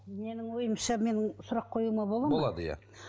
менің ойымша мен сұрақ қоюыма болады ма болады иә